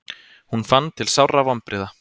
Hún fann til sárra vonbrigða.